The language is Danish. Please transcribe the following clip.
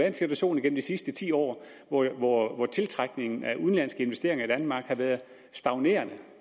en situation igennem de sidste ti år hvor tiltrækningen af udenlandske investeringer i danmark har været stagnerende